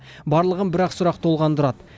барлығын бір ақ сұрақ толғандырады